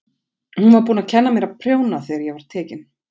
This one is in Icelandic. Hún var búin að kenna mér að prjóna þegar ég var tekin.